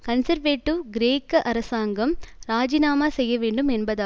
conservative கிரேக்க அரசாங்கம் இராஜிநாமா செய்ய வேண்டும் என்பதாகும்